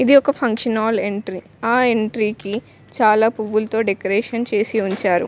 ఇది ఒక function hall entry ఆ ఎంట్రీ కి చాలా పువ్వులతో డెకరేట్ చేసి ఉంచారు.